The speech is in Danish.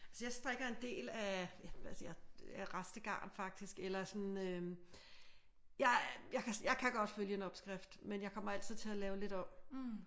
Altså jeg strikker en del af rest garn faktisk eller sådan øh jeg kan godt følge en opskrift men jeg kommer altid til at lave lidt om